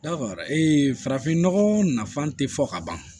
Yarɔ farafin nɔgɔ nafan tɛ fɔ ka ban